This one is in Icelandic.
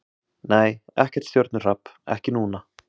Nei, ekkert stjörnuhrap, ekki núna.